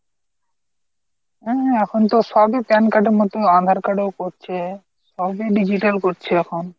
হম এখন তো সব ই pan card এর মতো aadhar card ও করছে, সবই digital করছে এখন।